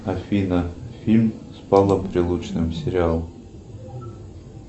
афина фильм с павлом прилучным сериал